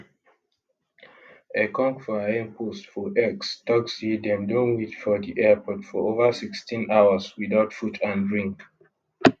ekong for im post for x tok say dem don wait for di airport for over 16 hours without food and drink